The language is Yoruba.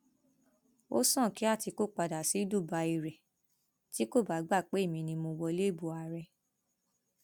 ó sàn kí àtikukù padà sí dubai rẹ tí kò bá gbà pé èmi ni mo wọlé ìbò ààrẹ